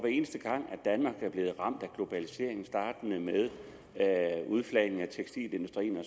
eneste gang danmark er blevet ramt af globaliseringen startende med udflagning af tekstilindustrien og